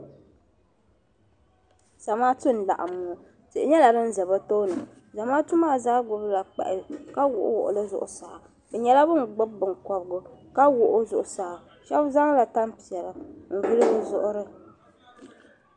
Zamaatu n laɣim ŋɔ tihi nyela din ʒe be tooni Zamaatu maa zaa gbubila kpahi ka wuhiwuhi li zuɣu saa bɛ nyela ban gbubi binkobigu ka wuhi o zuɣu saa shɛbi zaŋla tan piɛla n vuli bi zuɣuri.